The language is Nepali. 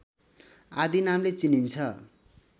आदि नामले चिनिन्छ